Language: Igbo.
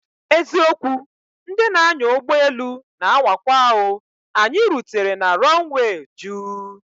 Eziokwu! Ndị na anya ụgbọ elu na anwakwa o, anyị rutere na runway juu